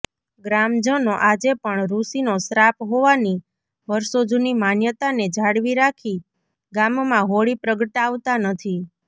ગ્રામજનો આજે પણ ઋષિનો શ્રાપ હોવાની વર્ષોજુની માન્યતાને જાળવી રાખી ગામમાં હોળી પ્રગટાવતા નથી